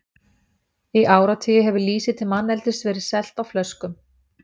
Í áratugi hefur lýsi til manneldis verið selt á flöskum.